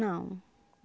Não.